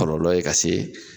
Kɔlɔlɔ ka se